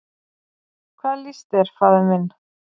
"""Hvað líst þér, faðir minn?"""